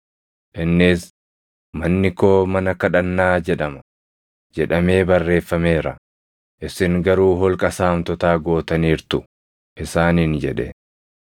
Innis, “ ‘Manni koo mana kadhannaa jedhama’ + 21:13 \+xt Isa 56:7\+xt* jedhamee barreeffameera; isin garuu holqa saamtotaa gootaniirtu” + 21:13 \+xt Erm 7:11\+xt* isaaniin jedhe.